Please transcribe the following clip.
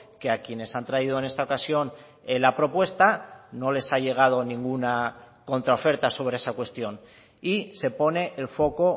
que a quienes han traído en esta ocasión la propuesta no les ha llegado ninguna contraoferta sobre esa cuestión y se pone el foco